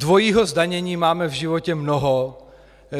Dvojího zdanění máme v životě mnoho.